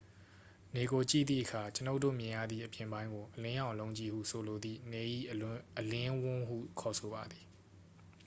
"နေကိုကြည့်သည့်အခါ ကျွန်ုပ်တို့မြင်ရသည့် အပြင်ပိုင်းကို "အလင်းရောင် အလုံးကြီး" ဟုဆိုလိုသည့် နေ၏အလင်းဝန်းဟု ခေါ်ဆိုပါသည်။